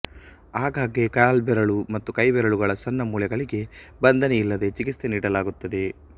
ಆಗಾಗ್ಗೆ ಕಾಲ್ಬೆರಳು ಮತ್ತು ಕೈಬೆರಳುಗಳ ಸಣ್ಣ ಮೂಳೆಗಳಿಗೆ ಬಂಧನಿಯಿಲ್ಲದೆ ಚಿಕಿತ್ಸೆ ನೀಡಲಾಗುತ್ತದೆ